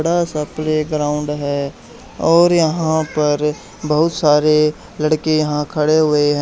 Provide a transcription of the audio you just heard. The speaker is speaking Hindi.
बड़ा सा प्लेग्राउंड है और यहां पर बहुत सारे लड़के यहां खड़े हुए हैं।